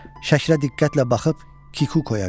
Şəklə diqqətlə baxıb Kikukoya verdi.